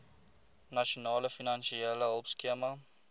nasionale finansiële hulpskema